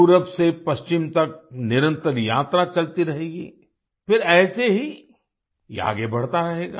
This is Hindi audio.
पूरब से पश्चिम तक निरंतर यात्रा चलती रहेगी फिर ऐसे ही ये आगे बढ़ता रहेगा